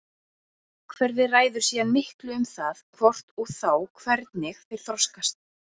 Umhverfið ræður síðan miklu um það hvort og þá hvernig þeir þroskast.